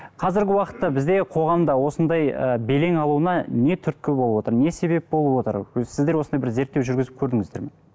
қазіргі уақытта бізде қоғамда осындай ы белең алуына не түрткі болып отыр не себеп болып отыр сіздер осындай бір зерттеу жүргізіп көрдіңіздер ме